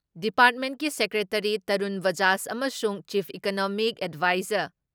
ꯗꯤꯄꯥꯔꯠꯃꯦꯟꯀꯤ secretary Tarun Bajaj ꯑꯃꯁꯨꯡ chief economic adviser